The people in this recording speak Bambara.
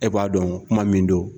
E b'a dɔn kuma min don.